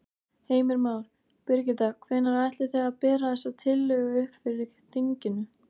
Heimir Már: Birgitta, hvenær ætlið þið að bera þessa tillögu upp fyrir þinginu?